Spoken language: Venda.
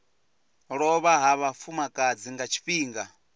lovha ha vhafumakadzi nga tshifhinga